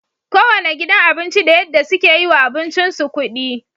Kowanne gidan abinci da yadda suke yiwa abincin su kudi